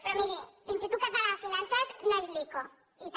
però miri l’institut català de finances no és l’ico i també